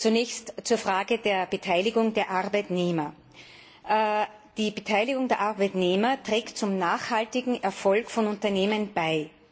Zunächst zur Frage der Beteiligung der Arbeitnehmer Die Beteiligung der Arbeitnehmer trägt zum nachhaltigen Erfolg von Unternehmen bei.